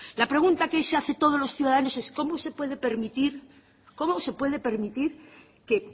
la pregunta que se hace todos los ciudadanos es cómo se puede permitir cómo se puede permitir que